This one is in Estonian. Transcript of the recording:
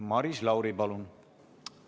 Maris Lauri, palun!